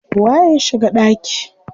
Waye ya shiga ɗaki?